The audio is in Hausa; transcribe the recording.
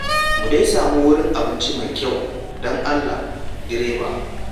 Mu dai sami wurin abinci mai kyau don Allah, direba.